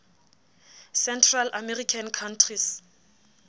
central american countries